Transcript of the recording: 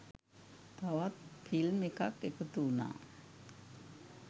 තවත් ෆිල්ම් එකක් එකතු වුනා